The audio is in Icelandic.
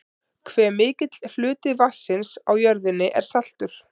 hve mikill hluti vatnsins á jörðinni er saltur